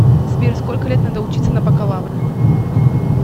сбер сколько лет надо учиться на бакалавра